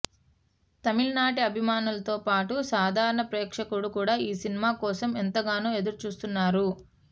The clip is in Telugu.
తమిళనాట అభిమానులతో పాటు సాధారణ ప్రేక్షకుడు కూడా ఈ సినిమా కోసం ఎంతగానో ఎదురుచూస్తున్నారు